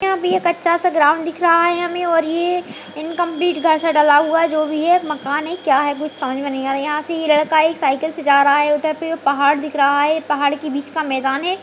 यहाँ पे एक अच्छा सा ग्राउंड दिख रहा है हमें और ये इनकंप्लीट घर सा डला हुआ है जो भी है मकान है क्या है कुछ समझ में नहीं आ रहा। यहाँ से ये लड़का एक साइकिल से जा रहा है उधर पे पहाड़ दिख रहा है पहाड़ के बीच का मैदान है।